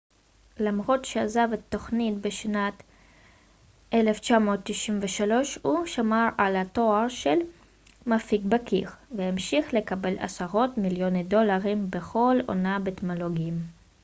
למרות שעזב את התוכנית בשנת 1993 הוא שמר על התואר של מפיק בכיר והמשיך לקבל עשרות מיליוני דולרים בכל עונה בתמלוגים